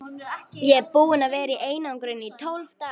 Ég er búinn að vera í einangrun í tólf daga.